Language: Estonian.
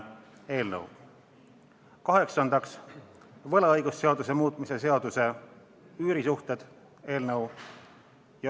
Kaheksandaks, võlaõigusseaduse muutmise seaduse eelnõu.